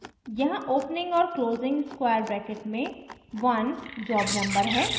यहाँ opening और closing square bracket में 1 job number है